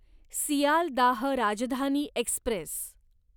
Sealdah Rajdhani Express